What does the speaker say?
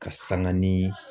Ka sanga ni.